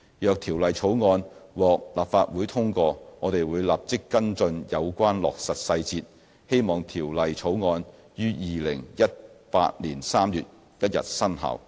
若《條例草案》獲立法會通過，我們會立即跟進有關落實細節，希望《條例草案》於2018年3月1日生效。